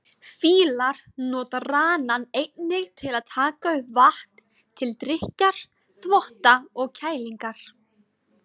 Fílar nota ranann einnig til að taka upp vatn, til drykkjar, þvotta og kælingar.